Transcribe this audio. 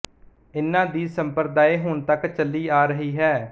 ਇਨ੍ਹਾਂ ਦੀ ਸੰਪਰਦਾਇ ਹੁਣ ਤੱਕ ਚੱਲੀ ਆ ਰਹੀ ਹੈ